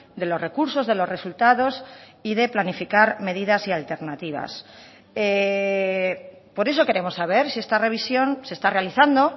de los recursos de los resultados y de planificar medidas y alternativas por eso queremos saber si esta revisión se está realizando